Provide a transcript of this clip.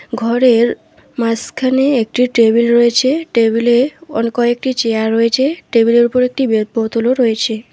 ঘরের মাসখানে একটি টেবিল রয়েছে টেবিলে অনেক কয়েকটি চেয়ার রয়েছে টেবিলের উপর একটি বে-বোতলও রয়েছে।